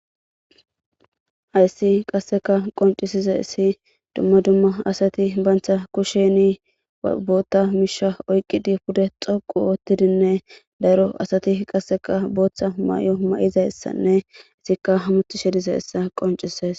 Hayssi qasseka qoncisize issi dumma dumma asati bantha kusheni bootta misha oyqqidi pude xoqu oottidinne daro asati qasseka booththa mayo ma7izayssanne izikka hamuthi shedize issa qoncises.